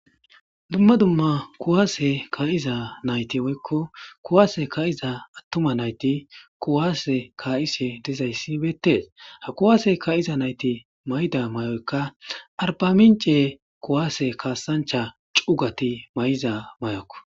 Dumma dumma kuwaase ka7iza nayti woykko kuwaase ka7iza attuma nayti kuwaase ka7ise dezayssi beettes ha kuwaase ka7iza nayti may7ida may7oykka arba mince kuwaase kaasancha cugati may7iza mayokk.